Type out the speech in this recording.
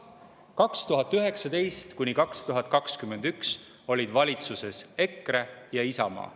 2019.–2021. aastal olid valitsuses EKRE ja Isamaa.